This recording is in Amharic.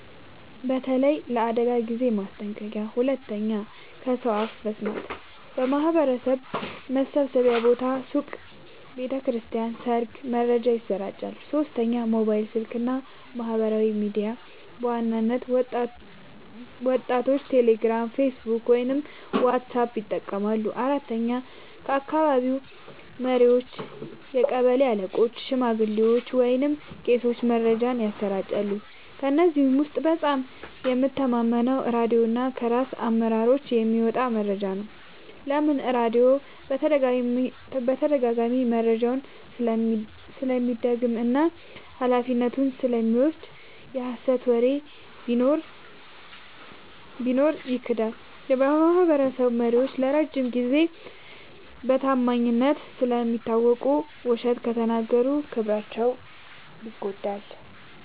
በተለይ ለአደጋ ጊዜ ማስጠንቀቂያ። 2. ከሰው አፍ መስማት – በማህበረሰብ መሰብሰቢያ ቦታዎች (ሱቅ፣ ቤተ ክርስቲያን፣ ሰርግ) መረጃ ይሰራጫል። 3. ሞባይል ስልክ እና ማህበራዊ ሚዲያ – በዋናነት ወጣቶች ቴሌግራም፣ ፌስቡክ ወይም ዋትስአፕ ይጠቀማሉ። 4. ከአካባቢ መሪዎች – ቀበሌ አለቆች፣ ሽማግሌዎች ወይም ቄሶች መረጃን ያሰራጫሉ። ከእነዚህ ውስጥ በጣም የምተማመነው ራድዮ እና ከራስ አመራሮች የሚመጣ መረጃ ነው። ለምን? · ራድዮ በተደጋጋሚ መረጃውን ስለሚደግም እና ኃላፊነቱን ስለሚወስድ። የሀሰት ወሬ ቢኖር ይክዳል። · የማህበረሰብ መሪዎች ለረጅም ጊዜ በታማኝነት ስለሚታወቁ፣ ውሸት ከተናገሩ ክብራቸው ይጎዳል።